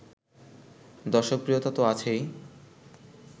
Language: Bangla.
দর্শকপ্রিয়তা তো আছেই